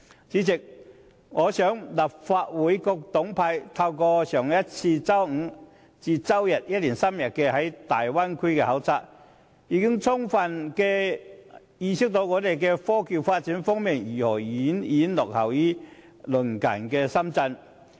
主席，透過4月底一連3天的粵港澳大灣區考察，我相信立法會各黨派議員已充分意識到，香港在科技發展方面如何遠遠落後於鄰近的深圳。